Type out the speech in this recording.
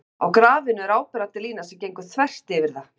á grafinu er áberandi lína sem gengur þvert yfir það